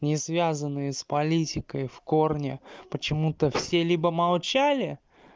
не связанные с политикой в корне почему-то все либо молчали